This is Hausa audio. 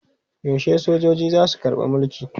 Yaushe sojoji za su karɓi mulki?